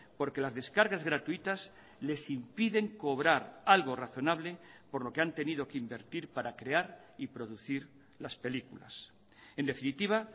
porque las descargas gratuitas les impiden cobrar algo razonable por lo que han tenido que invertir para crear y producir las películas en definitiva